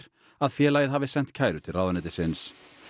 að félagið hafi sent kæru til ráðuneytisins